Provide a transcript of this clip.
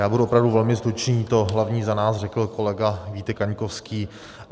Já budu opravdu velmi stručný, to hlavní za nás řekl kolega Vítek Kaňkovský.